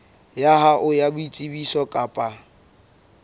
ya hao ya boitsebiso kapa